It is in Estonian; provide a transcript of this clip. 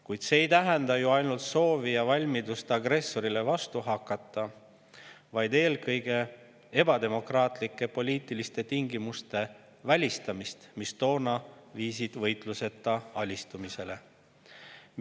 Kuid see ei tähenda ju ainult soovi ja valmidust agressorile vastu hakata, vaid eelkõige tähendab see ebademokraatlike poliitiliste tingimuste välistamist, mis toona viisid võitluseta alistumisele.